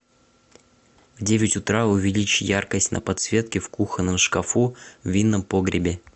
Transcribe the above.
в девять утра увеличь яркость на подсветке в кухонном шкафу в винном погребе